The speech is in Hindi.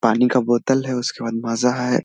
पानी का बोतल है उसके बाद माजा है।